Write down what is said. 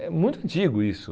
É muito antigo isso.